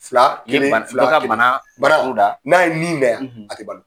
Fila, kelen ka banaa bara o da, n'a ye nin nɛ yan, a te balo.